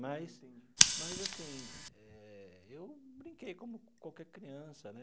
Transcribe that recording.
Mas mas assim eh, eu brinquei como qualquer criança, né?